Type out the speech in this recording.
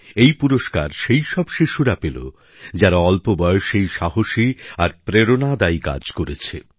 এই পুরস্কার সেই সব শিশুরা পেল যারা অল্প বয়সেই সাহসী আর প্রেরণাদায়ক কাজ করেছে